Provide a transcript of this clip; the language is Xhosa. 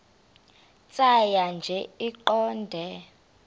tjhaya nje iqondee